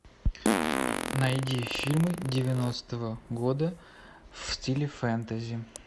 найди фильмы девяностого года в стиле фэнтези